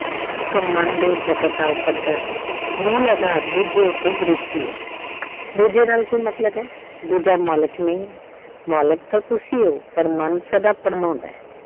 ਸੋ ਮਨ ਦੇ ਜਗਤ ਦਾ ਉਪੱਧਰ ਮੂਲ ਆਧਾਰ ਦੂਜੇ ਉੱਪਰ ਦ੍ਰਿਸ਼ਟੀ ਐ ਦੂਜੇ ਨਾਲ ਕੀ ਮਤਲਬ ਐ ਦੂਜਾ ਮਾਲਕ ਨਹੀਂ ਐ ਮਾਲਕ ਤਾਂ ਤੁਸੀਂ ਓ ਪਰ ਮਨ ਸਦਾ ਭਰਮਾਉਂਦਾ।